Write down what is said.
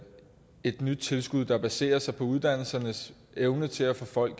nyt tilskud der baserer sig på uddannelsernes evne til at få de